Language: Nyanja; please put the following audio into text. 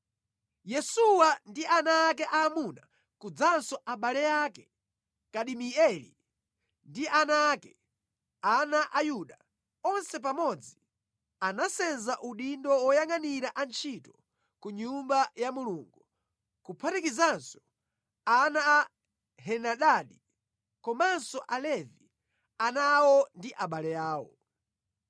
Yesuwa ndi ana ake aamuna kudzanso abale ake, Kadimieli ndi ana ake (ana a Yuda) onse pamodzi anasenza udindo woyangʼanira antchito ku Nyumba ya Mulungu, kuphatikizanso ana a Henadadi komanso Alevi, ana awo ndi abale awo.